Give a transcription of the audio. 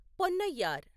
Ponnaiyar